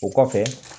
O kɔfɛ